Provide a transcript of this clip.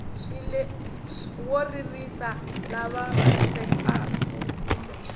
wo ririsa lava vavisekaku kumbe